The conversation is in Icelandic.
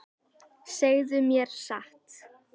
Segðu mér satt.